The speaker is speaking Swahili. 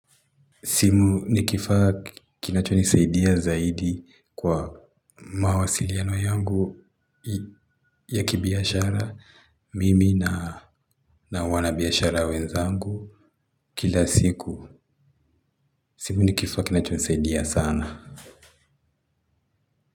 Simu ni kifaa kinachonisaidia zaidi kwa mawasiliano yangu ya kibiashara mimi na wanabiashara wenzangu. Kila siku simu ni kifaa kinachonisaidia sana.